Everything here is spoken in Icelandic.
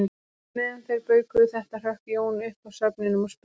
Meðan þeir baukuðu þetta hrökk Jón upp af svefninum og spurði